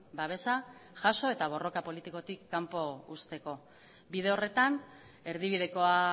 babesa jaso eta borroka politikotik kanpo uzteko bide horretan erdibidekoa